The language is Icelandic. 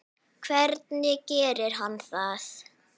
Hvernig gerir hann það?